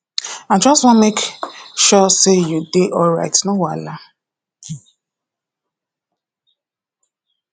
i just wan make make sure say you dey alright no wahala